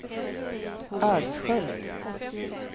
Ödskölt